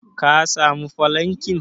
ka samu falankin?